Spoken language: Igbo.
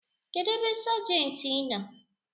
Kedụ ebe sajenti nọ?